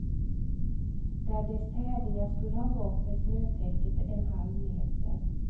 Där dess tävlingar skulle ha gått är snötäcket en halv meter.